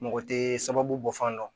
Mɔgɔ tɛ sababu bɔ fan dɔn